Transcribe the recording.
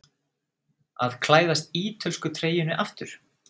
Að klæðast ítölsku treyjunni aftur?